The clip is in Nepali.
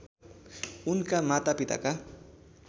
उनका माता पिताका